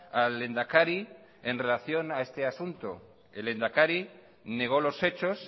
al lehendakari en relación a este asunto el lehendakari negó los hechos